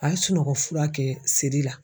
A ye sunɔgɔ fura kɛ siri la.